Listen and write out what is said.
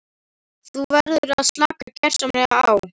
Þú verður að slaka gersamlega á.